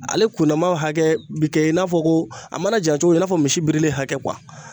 Ale kundama hakɛ bi kɛ i n'a fɔ ko a mana jan cogo i n'a fɔ misi birilen hakɛ